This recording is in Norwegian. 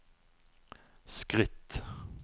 skritt